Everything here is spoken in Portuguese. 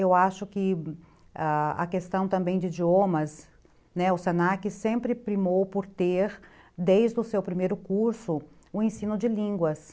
Eu acho que a questão também de idiomas, né, o se na que sempre primou por ter, desde o seu primeiro curso, o ensino de línguas.